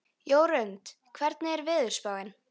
Jörundur, hvernig er veðurspáin?